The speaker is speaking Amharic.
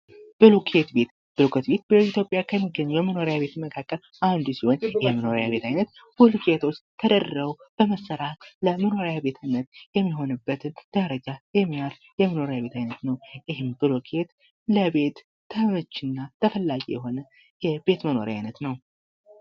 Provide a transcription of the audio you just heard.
ብሎኬት ቤት፤ ብሎኬት ቤት በኢትዮጵያ ከሚገኙ ይመኖሪያ ቤት መካከል አንዱ ሲሆን ይህ የመኖሪያ ቤት አይነት ብሎኬቶች ተደርድረው በመሰራት ለመኖሪያ ቤት የሚሆኑበትን ደረጃ የሚያአይ የመኖሪያ ቤት አይነት ነው። ይሄውም ብሎኬት ለ ቤት አመቺ እና ተፈላጊ የሆነ የቤት የመኖሪያ አይነት ነው።